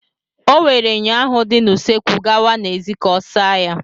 O were myọ ahụ dị na usekwu gawa n'èzí ka ọ saa ya.